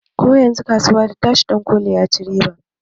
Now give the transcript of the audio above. Koyanzun kasuwa ta tashi dankoli ya ci riba